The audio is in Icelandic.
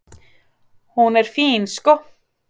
"""Hún er fín, sko."""